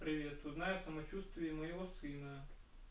привет узнай о самочувствии моего сына